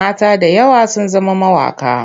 Mata da yawa sun zama mawaƙa.